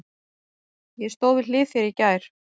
Ég stóð við hlið þér í gær.